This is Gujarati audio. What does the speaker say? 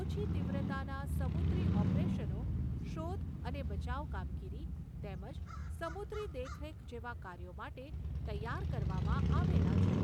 ઓછી તીવ્રતાના સમુદ્રી ઓપરેશનો, શોધ અને બચાવ કામગીરી તેમજ સમુદ્રી દેખરેખ જેવા કાર્યો માટે તૈયાર કરવામાં આવેલા છે.